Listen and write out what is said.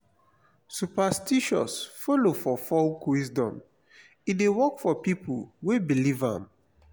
superstitions follow for folk wisdom e de work for pipo wey believe am